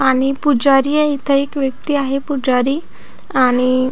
आणि पुजारी आहे इथे एक व्यक्ति आहे पुजारी आणि--